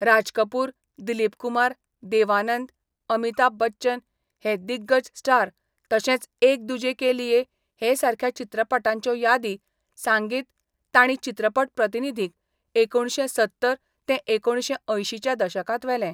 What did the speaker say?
राज कपुर, दिलीप कुमार, देव आनंद, अमिताभ बच्चन हे दिग्गज स्टार तशेच एक दुजे के लिए हे सारख्या चित्रपटांच्यो यादी सांगीत तांणी चित्रपट प्रतिनिधींक एकुणशे सत्तर ते एकुणशे अंयशींच्या दशकांत वेले.